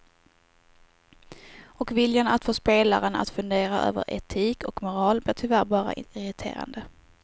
Och viljan att få spelaren att fundera över etik och moral blir tyvärr bara irriterande.